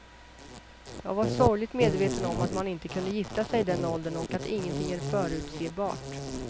Jag var sorgligt medveten om att man inte kunde gifta sig i den åldern och att ingenting är förutsebart.